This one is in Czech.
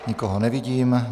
Nikoho nevidím.